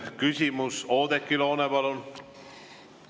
Küsimus, Oudekki Loone, palun!